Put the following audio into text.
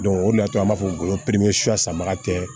o de y'a to an b'a fɔ sanbaga tɛ